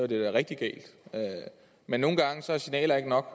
det være rigtig galt men nogle gange er signaler ikke nok